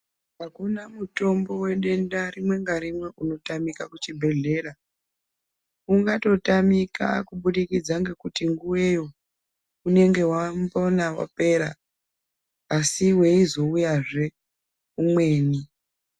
Akuna mutombo wedenda rimwe ngarimwe unotamika kuchibhedhlera. Ungatotamika kubudikidza ngekuti nguweyo unengana wapera, asi weizoiyazve umweni.